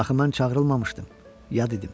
Axı mən çağırılmamışdım, yad idim.